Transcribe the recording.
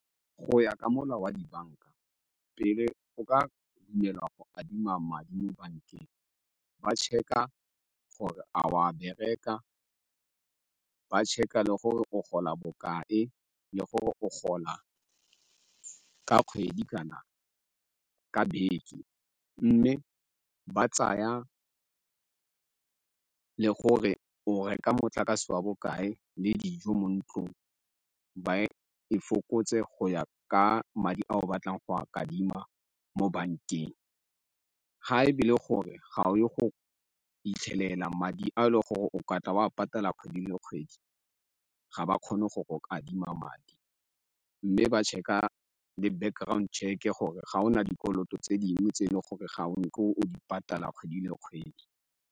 Go ya ka molao wa dibanka pele o ka dumelwa go adima madi mo bankeng ba checker gore a wa bereka ba check-e le gore o gola bokae le gore o gola ka kgwedi kana ka beke. Mme ba tsaya le gore o reka motlakase wa bokae le dijo mo ntlong, ba e fokotse go ya ka madi a o batlang go kadima mo bankeng. Ga e be le gore ga o yo go 'itlhelela madi a le gore o ka tla wa patala kgwedi le kgwedi ga ba kgone go kadima madi mme ba checker le background check-e gore ga o na dikoloto tse dingwe tse e leng gore ga o na o di patala kgwedi le kgwedi.